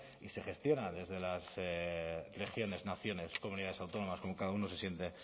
y se gestiona desde las regiones naciones comunidades autónomas como cada uno se siente